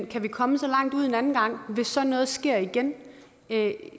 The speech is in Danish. kan komme så langt ud en anden gang hvis sådan noget sker igen